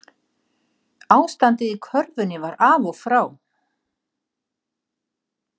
Ástandið í körfunni var af og frá